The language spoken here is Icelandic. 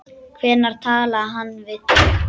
Hvenær talaði hann við þig?